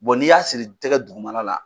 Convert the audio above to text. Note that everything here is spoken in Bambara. n'i y'a siri i tɛgɛ dugumana la.